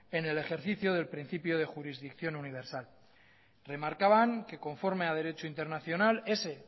en el ejercicio del principio de jurisdicción universal remarcaban que conforme a derecho internacional ese